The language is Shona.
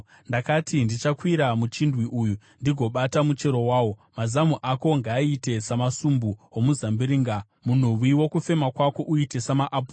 Ndakati, “Ndichakwira muchindwi uyu, ndigobata muchero wawo.” Mazamu ako ngaaite samasumbu omuzambiringa, munhuwi wokufema kwako uite samaapuro,